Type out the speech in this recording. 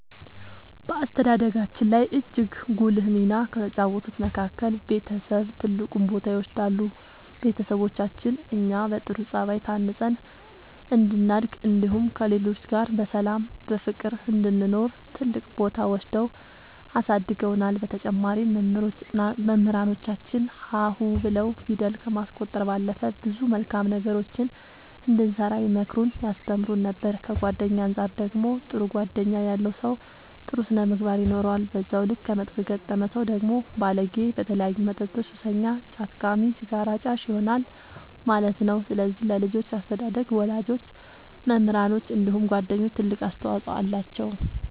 በአስተዳደጋችን ላይ እጅግ ጉልህ ሚና ከተጫወቱት መካከል ቤተሰብ ትልቁን ቦታ ይወስዳሉ ቤተሰቦቻችን እኛ በጥሩ ጸባይ ታንጸን እንድናድግ እንዲሁም ከሌሎች ጋር በሰላም በፍቅር እንድንኖር ትልቅ ቦታ ወስደው አሳድገውናል በተጨማሪም መምህራኖቻችን ሀ ሁ ብለው ፊደል ከማስቆጠር ባለፈ ብዙ መልካም ነገሮችን እንድንሰራ ይመክሩን ያስተምሩን ነበር ከጓደኛ አንፃር ደግሞ ጥሩ ጓደኛ ያለው ሰው ጥሩ ስነ ምግባር ይኖረዋል በዛው ልክ ከመጥፎ የገጠመ ሰው ደግሞ ባለጌ በተለያዩ መጠጦች ሱሰኛ ጫት ቃሚ ሲጋራ አጫሽ ይሆናል ማለት ነው ስለዚህ ለልጆች አስተዳደግ ወላጆች መምህራኖች እንዲሁም ጓደኞች ትልቅ አስተዋፅኦ አላቸው።